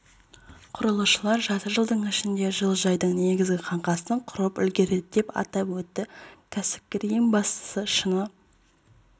құрылысшылар жарты жылдың ішінде жылыжайдың негізгі қаңқасын құрып үлгереді деп атап өтті кәсіпкер ең бастысы шыны